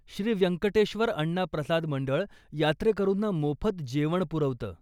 श्री व्यंकटेश्वर अण्णा प्रसाद मंडळ यात्रेकरूंना मोफत जेवण पुरवतं.